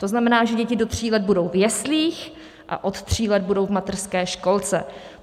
To znamená, že děti do tří let budou v jeslích a od tří let budou v mateřské školce.